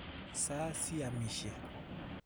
Sa siamishe.